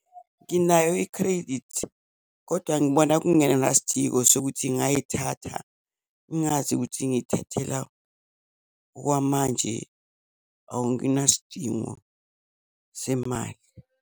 Nginayo i-credit, kodwa ngibona kungenasidingo sokuthi ngayithatha ngingazi ukuthi ngiyithathela, okwamanje anginasidingo semali.